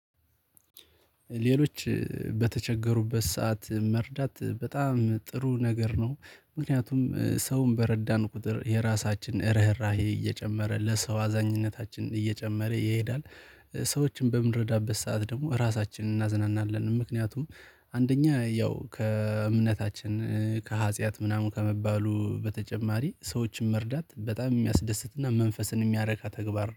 ሌሎች በተቸገሩበት ሰዓት መርዳት በጣም ጥሩ ነገር ነው ምክንያቱም ሰውን በረዳን ቁጥር የራሳችን ርህራሄ እየጨመረ ለሰው አዛኝነታችን እየጨመረ ይሄዳል። ሰዎችን በምረዳበት ሰዓት ደግሞ ራሳችንን እናዝናናለን ምክንያቱም አንደኛ ያው ከእምነታችን ከሀጥያት ምናምን ከመባሉ በተጨማሪ ሰዎችን መርዳት በጣም የሚያስደስትና መንፈስን የሚያረካ ተግባር